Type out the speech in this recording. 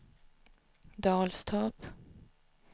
Dalstorp